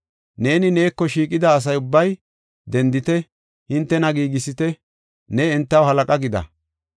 “Nenne neeko shiiqida asa ubbay dendite; hintena giigisite; ne entaw halaqa gida.